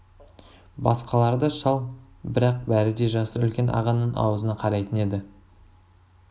басқалары да шал бірақ бәрі де жасы үлкен ағаның аузына қарайтын еді